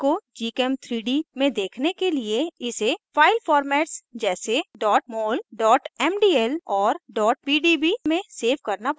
file को gchem3d में देखने के लिए इसे file formats जैसे mol mdl और pdb में सेव करना पड़ता है